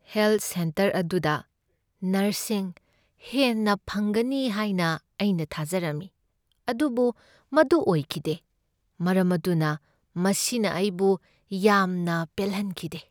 Health centre ꯑꯗꯨꯗ ꯅꯔꯁꯁꯤꯡ ꯍꯦꯟꯅ ꯐꯪꯒꯅꯤ ꯍꯥꯏꯅ ꯑꯩꯅ ꯊꯥꯖꯔꯝꯃꯤ ꯑꯗꯨꯕꯨ ꯃꯗꯨ ꯑꯣꯏꯈꯤꯗꯦ, ꯃꯔꯝ ꯑꯗꯨꯅ ꯃꯁꯤꯅ ꯑꯩꯕꯨ ꯌꯥꯝꯅ ꯄꯦꯜꯍꯟꯈꯤꯗꯦ꯫